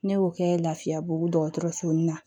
Ne y'o kɛ lafiyabugu dɔgɔtɔrɔ fu na